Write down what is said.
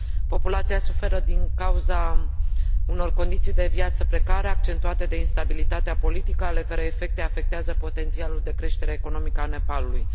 Populația suferă din cauza unor condiții de viață precare, accentuate de instabilitatea politică ale cărei efecte afectează potențialul de creștere economică a Nepalului.